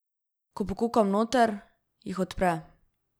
Ko pokukam noter, jih odpre.